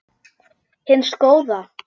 hins góða?